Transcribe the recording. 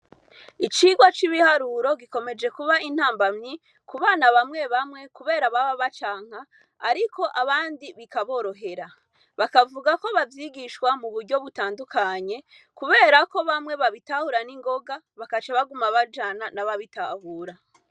Icirwa c'ibiharuro gikomeje kubera intambanyi kubana bamwe bamwe kubera ko baba bacanka, ariko abandi biraborohera. Bakavuga ko bavyigishwa mu buryo butandukanye kubera ko bamwe babitahura n'ingoga bagaca baguma bajana nababitahura.